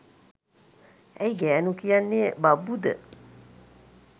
ඇයි ගෑනු කියන්නේ බබ්බු ද?